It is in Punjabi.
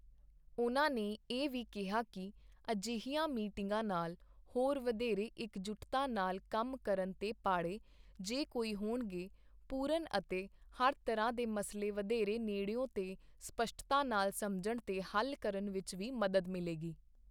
ਉਨ੍ਹਾਂ ਇਹ ਵੀ ਕਿਹਾ ਕਿ ਅਜਿਹੀਆਂ ਮੀਟਿੰਗਾਂ ਨਾਲ ਹੋਰ ਵਧੇਰੇ ਇਕਜੁੱਟਤਾ ਨਾਲ ਕੰਮ ਕਰਨ ਤੇ ਪਾੜੇ, ਜੇ ਕੋਈ ਹੋਣਗੇ, ਪੂਰਨ ਅਤੇ ਹਰ ਤਰ੍ਹਾਂ ਦੇ ਮਸਲੇ ਵਧੇਰੇ ਨੇੜਿਓਂ ਤੇ ਸਪੱਸ਼ਟਤਾ ਨਾਲ ਸਮਝਣ ਤੇ ਹੱਲ ਕਰਨ ਵਿੱਚ ਵੀ ਮਦਦ ਮਿਲੇਗੀ।